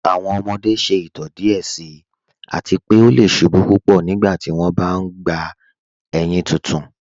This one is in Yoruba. Awọn ọmọde ṣẹ itọ díẹ̀ síì àti pé ọ lẹ̀ ṣubú púpọ́ nígbàtí wọn bá n gbà éyin títún.